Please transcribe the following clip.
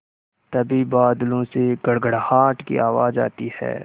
तभी बादलों से गड़गड़ाहट की आवाज़ आती है